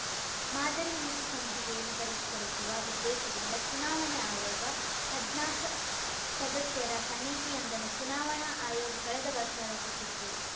ಮಾದರಿ ನೀತಿ ಸಂಹಿತೆಯನ್ನು ಪರಿಷ್ಕರಿಸುವ ಉದ್ದೇಶದಿಂದ ಚುನಾವಣಾ ಆಯೋಗ ಹದ್ನಾಕ ಸದಸ್ಯರ ಸಮಿತಿಯೊಂದನ್ನು ಚುನಾವಣಾ ಆಯೋಗ ಕಳೆದ ವರ್ಷ ರಚಿಸಿತ್ತು